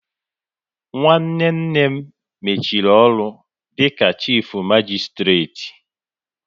Nwanne nne m mechiri ọrụ dịka chifu magisitireti